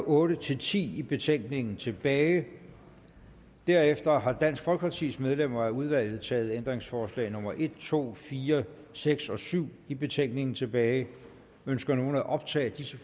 otte ti ti i betænkningen tilbage derefter har dansk folkepartis medlemmer af udvalget taget ændringsforslag nummer en to fire seks og syv i betænkningen tilbage ønsker nogen at optage disse